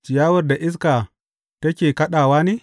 Ciyawar da iska take kaɗawa ne?